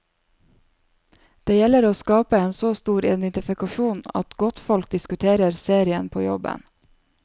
Det gjelder å skape en så stor identifikasjon, at godtfolk diskuterer serien på jobben.